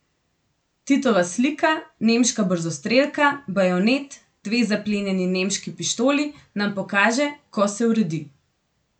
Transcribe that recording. Titova slika, nemška brzostrelka, bajonet, dve zaplenjeni nemški pištoli nam pokaže, ko se uredi.